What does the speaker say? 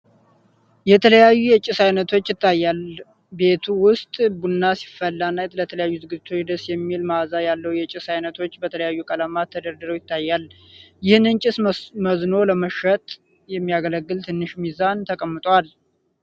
የተለያዩ የጭስ አይነቶች ይታያል። ቤት ዉስጥ ፣ ቡና ሲፈላ እና ለተለያዩ ዝግቶችቶ ደስ የሚል መዓዛ ያለዉ የጭስ አይነቶች በተለያዩ ቀለማት ተደርድረዉ ይታያል። ይህንን ጭስ መዝኖ ለመሸጥ የሚያገለግል ትንሽ ሚዛን ተቀምጧል።